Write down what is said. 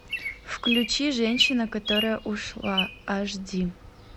включи женщина которая ушла аш ди